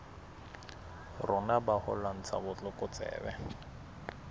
rona ba ho lwantsha botlokotsebe